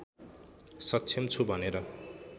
सक्षम छु भनेर